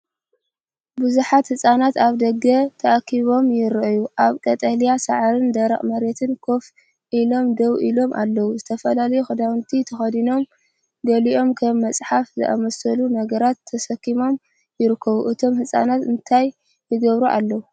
ብዙሓት ህጻናት ኣብ ደገ ተኣኪቦም ይረኣዩ። ኣብ ቀጠልያ ሳዕርን ደረቕ መሬትን ኮፍ ኢሎም ደው ኢሎም ኣለዉ። ዝተፈላለየ ክዳውንቲ ተኸዲኖም ገሊኦም ከም መጽሓፍ ዝኣመሰሉ ነገራት ተሰኪሞም ይርከቡ። እቶም ህፃናት እንታይ ይገብሩ ኣለዉ?